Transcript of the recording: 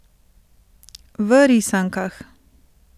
V risankah?